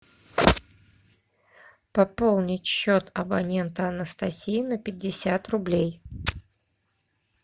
пополнить счет абонента анастасия на пятьдесят рублей